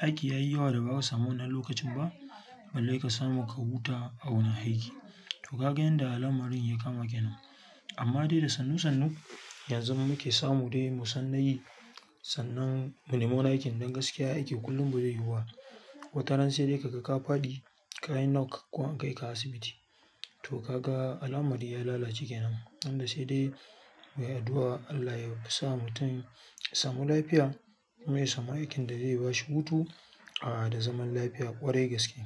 aiki yayi yawa da bazaka samu wannan lokacin ba, balle ka samu ka huta a wurin aiki. To ka ga yanda lamarin ya kama kenan. Amma dai da sannu-sannu yanzu muke samu dai mu san nayi, sannan mu nemi wani aikin don gaskiya aiki kullum bazai yiwuba. Watanan sai dai kaga ka faɗi kayi nock ko an kaika asibiti. To kaga al'amari ya lalace kenan tunda sai dai ayi addu'a Allah yasa mutum ya samu lafiya, kuma ya samu aikin da zai bashi hutu a da zaman lafiya ƙwarai gaske.